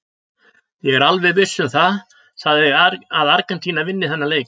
Ég er alveg viss um það að Argentína vinni þennan leik.